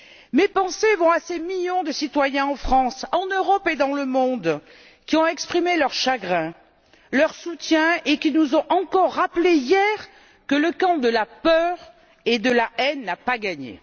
Mes pensées vont à ces millions de citoyens en France, en Europe et dans le monde qui ont exprimé leur chagrin et leur soutien, et qui nous ont encore rappelé hier que le camp de la peur et de la haine n'a pas gagné.